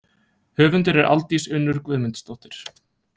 Höfundur er Aldís Unnur Guðmundsdóttir.